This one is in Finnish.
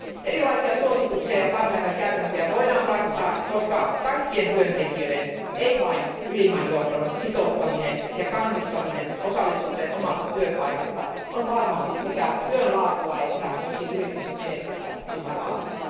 Erilaisia suosituksia ja parhaita käytäntöjä voidaan vaihtaa, koska kaikkien työntekijöiden, ei vain ylimmän johdon, sitouttaminen ja kannustaminen osallisuuteen omasta työpaikasta on varmasti sekä työn laatua että myös yrityksen menestystä lisäävä asia.